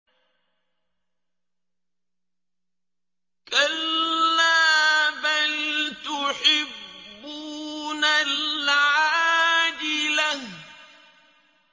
كَلَّا بَلْ تُحِبُّونَ الْعَاجِلَةَ